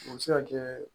O bɛ se ka kɛ